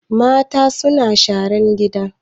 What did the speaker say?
Mata suna sharan gina